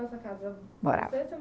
morava